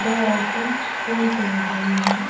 दो औरतें फूल तोड़ रही है.